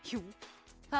það